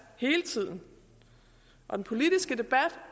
hele tiden og den politiske debat